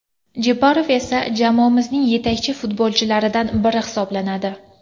Jeparov esa jamoamizning yetakchi futbolchilaridan biri hisoblanadi.